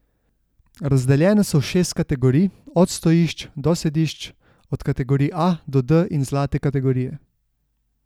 Razdeljene so v šest kategorij, od stojišč do sedišč, od kategorij A do D in zlate kategorije.